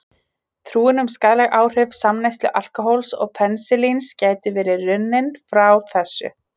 Trúin um skaðleg áhrif samneyslu alkóhóls og penisilíns gæti verið runnin frá þessu.